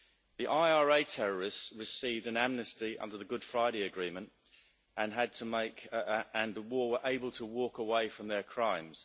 The IRA terrorists received an amnesty under the Good Friday Agreement and were able to walk away from their crimes.